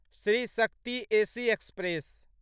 Shri Shakti AC express